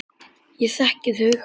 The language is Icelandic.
Ég þekki þau.